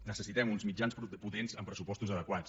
necessitem uns mitjans potents amb pressupostos adequats